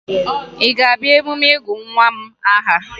Ị ga-abịa emume ịgụ nwa m aha?